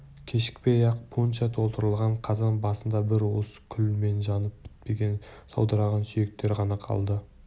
кешікпей-ақ пунша толтырылған қазан басында бір уыс күлмен жанып бітпеген саудыраған сүйектер ғана қалды